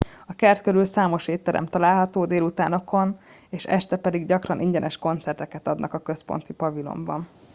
a kert körül számos étterem található délutánokon és este pedig gyakran ingyenes koncerteket adnak a központi pavilonban